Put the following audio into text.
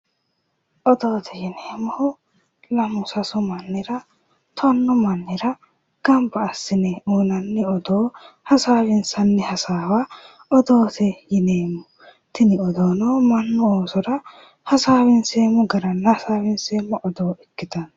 Odoote yineemmohu lamu sasu mannira tonnu mannira gamba assine uyinnanni odoo ,hasaawinsanni hasaawa odoote yineemmotini odoono mannu oosora hasaawinseemmo gara hasaawinseemmo odoo ikkittano